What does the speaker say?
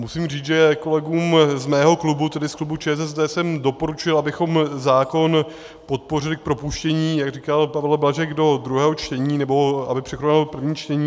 Musím říct, že kolegům z mého klubu, tedy z klubu ČSSD, jsem doporučil, abychom zákon podpořili k propuštění, jak říkal Pavel Blažek, do druhého čtení, nebo aby překonal první čtení.